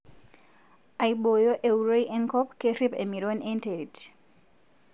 Aiboyo euroi enkop kerip emiron enterit.